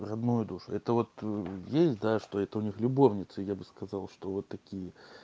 родную душу это вот есть да что это у них любовницы я бы сказал что вот такие